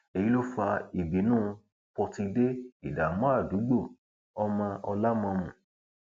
èyí ló fa ìbínú pọtidé ìdààmú àdúgbò ọmọ ọlámọmù